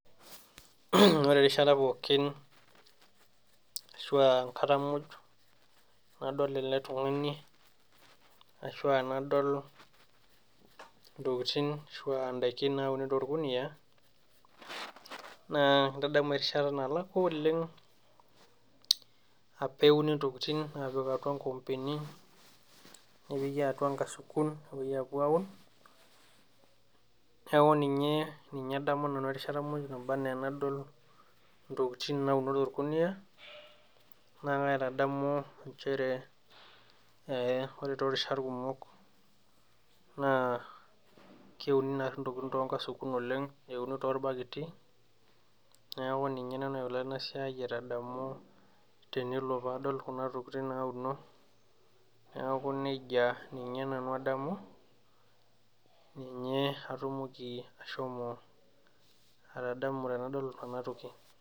Ore erishat pookin ashua enkata muj nadol ele tung'ani ashua nadol intokitin ashua indaikin nauni torkuniyia naa kintadamu erishat nalakua oleng apa euni intokiting aapik atua inkoompeni nepiki atua inkasukuni nepuoi apuo aun neeku ninye ninye adamu nanu erishata muj naba enaa enadol intokiting nauno torkuniyia naa kaitadamu inchere eh ore torishat kumok naa keuni narri intokiting tonkasukun oleng neuni torbaketi niaku ninye ina naalo ena siai aitadamu tenelo paadol kuna tokiting nauno neeku nejia ninye nanu adamu ninye atumoki ashomo atadamu tenadol enatoki.